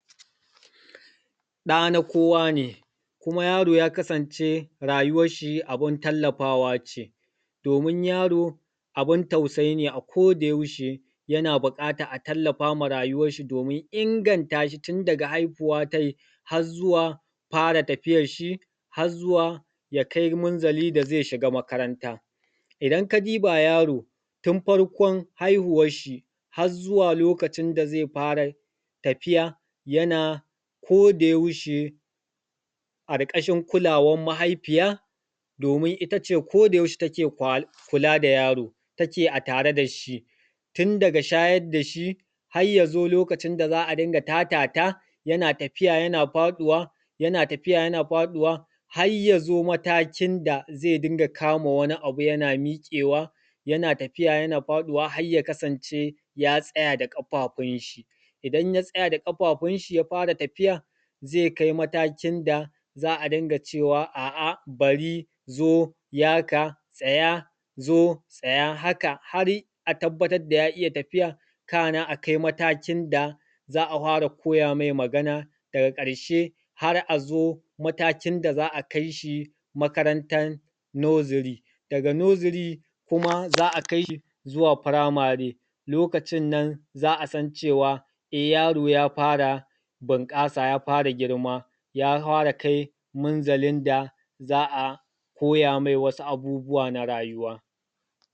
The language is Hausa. Ɗa na kowa ne, kuma yaro ya kasance rayuwar shi abin tallafawa ce, domin yar abin tausayi ne a ko da yaushe yana buƙatar a tallafama rayuwar shi domin inganta shi tun daga haihuwatai har zuwa fara tafiyan shi, har zuwa ya kai munzali da zai shiga makaranta. Idan ka diba yaro, tun farkon haihuwan shi har zuwa lokacin da zai fara tafiya, yana ko da yaushe a ƙarƙashin kualawar mahaifiya, domin ita ce ko da yaushe take kula da yaro, take a tare da shi tun daga shayar da shi har ya zo lokacin da za a dinga tatata, yana tafiya yana faɗuwa, yana tafiya yana faɗuwa, har ya zo matakin da zai dinga kama wani abu yana miƙewa, yana tafiya yana faɗuwa har ya kasance ya tsaya da ƙafafun shi. Idan ya tsaya da ƙafafun shi ya fara tafiya, zai kai matakin da za a dinga cewa a’a, bari, zo, yaka, tsaya, zo, tsaya, haka har a tabbatar da ya iya tafiya kana a kai matakin da za a hwara koya mai Magana. Daga ƙarshe har a zo matakin da za a kai shi makarantan nursery, daga nursery kuma za kai shi zuwa firamare, lokacin nan za a san cewa eh yaro ya fara bunƙasa, ya fara girma, ya hwara kai munzalin da za koya mai wasu abubuwa na rayuwa.